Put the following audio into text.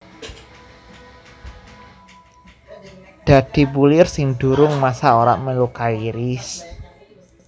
Dadi bulir sing durung masak ora melu kairis